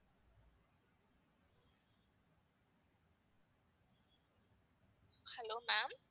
hello ma'am